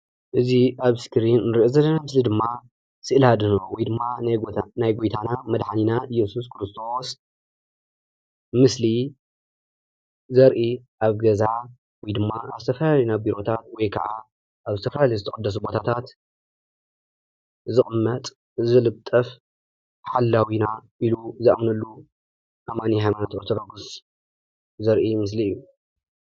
እዚ ኣብ እስክሪን ንሪኦ ዘለና ምስሊ ድማ ስእሊ ኣድህኖ ወይ ድማ ናይ ጎይታ ናይ ጎይታና መድሓኒና እየሱስ ክርስቶስ ምስሊ ዘርኢ ኣብ ገዛ ወይ ድማ ኣብ ዝተፈላለዩ ና ቢሮታት ወይከዓ ኣብ ዝተፈላለዩ ዝተቐደሱ ቦታታት ዝቕመጥ፣ ዝልጠፍ ሓላዊና ኢሉ ዝኣምነሉ ኣማኒ ሃይማኖት ኦርቶዶክስ ዘርኢ ምስሊ እዩ፡፡